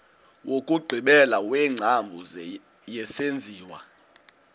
wokugqibela wengcambu yesenziwa